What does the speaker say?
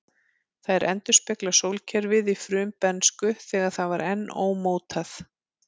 Þær endurspegla sólkerfið í frumbernsku, þegar það var enn ómótað.